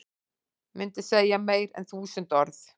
Mynd segir meira en þúsund orð